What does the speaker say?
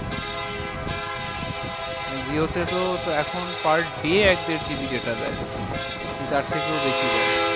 মানে jio তে তো এখন per day এক দেড় GB data দেয়। কি তার থেকেও বেশি দেয়।